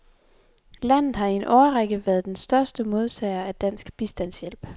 Landet har i en årrække været største modtager af dansk bistandshjælp.